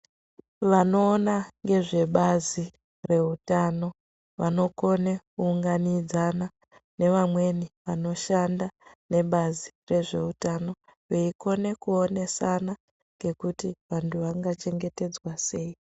Vanoona ngezvebazi reutano vanokone kuunganidzana nevamweni vanoshanda nebari rezveutano veikone kuonesana nekuti vantu vangachengetedzwa sei.